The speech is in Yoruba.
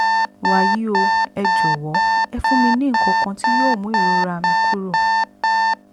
wàyí o ẹ jọ̀wọ́ ẹ fún mi ní nǹkan kan tí yóò mú ìrora mi kúrò